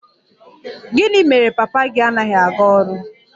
Gịnị mere papa gị anaghị aga ọrụ?